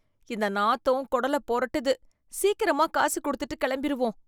இந்த நாத்தம் குடல புரட்டுது. சீக்கிரமா காசு கொடுத்துட்டு கிளம்பிருவோம்.